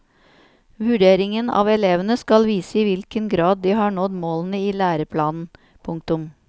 Vurderingen av elevene skal vise i hvilken grad de har nådd målene i læreplanen. punktum